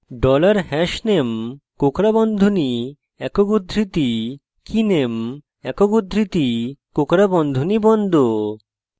dollar hashname কোঁকড়া বন্ধনী একক উদ্ধৃতি keyname একক উদ্ধৃতি কোঁকড়া বন্ধনী বন্ধ